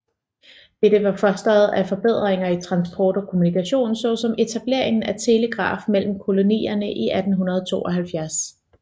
Dette var fostret af forbedringer i transport og kommunikation såsom etableringen af telegraf mellem kolonierne i 1872